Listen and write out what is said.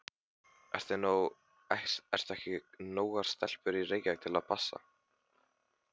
Eru ekki nógar stelpur í Reykjavík til að passa?